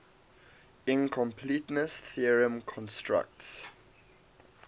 incompleteness theorem constructs